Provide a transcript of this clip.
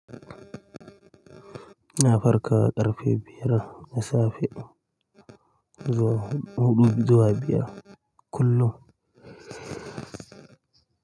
Ina farka ƙarfe biyar na safe zuwa huɗu zuwa biyar kullum.